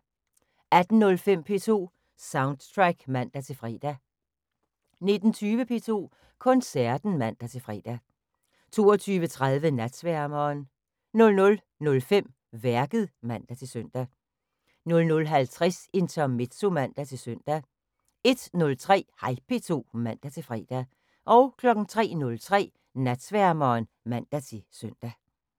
18:05: P2 Soundtrack (man-fre) 19:20: P2 Koncerten (man-fre) 22:30: Natsværmeren 00:05: Værket (man-søn) 00:50: Intermezzo (man-søn) 01:03: Hej P2 (man-fre) 03:03: Natsværmeren (man-søn)